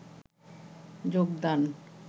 যোগদান